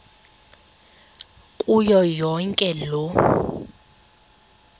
kuyo yonke loo